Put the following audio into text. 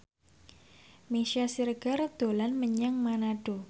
Meisya Siregar dolan menyang Manado